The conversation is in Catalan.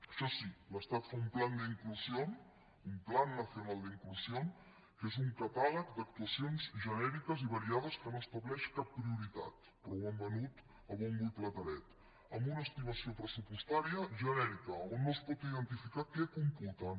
això sí l’estat fa un plan de inclusión un plan nacional de inclusión que és un catàleg d’actuacions genèriques i variades que no estableix cap prioritat però ho han venut a bombo i platerets amb una estimació pressupostària genèrica en què no es pot identificar què computen